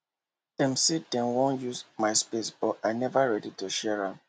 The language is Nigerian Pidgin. dem say dem wan use my space but i neva ready to share am